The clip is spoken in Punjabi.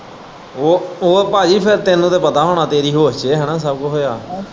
ਉਹ ਉਹ ਭਾਜੀ ਫੇਰ ਤੈਨੂੰ ਤੇ ਪਤਾ ਹੋਣਾ ਤੇਰੀ ਹੋਸ਼ ਚ ਹੈਨਾ ਸਭ ਕੁਝ ਹੋਇਆ।